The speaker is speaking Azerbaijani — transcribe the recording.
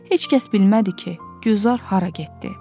Heç kəs bilmədi ki, Gülzar hara getdi.